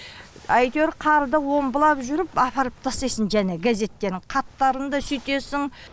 әйтеуір қарда омбылап жүріп апарып тастайсың жаңа газеттерін қаптарын да сүйтесің